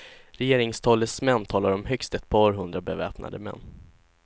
Regeringstalesmän talar om högst ett par hundra beväpnade män.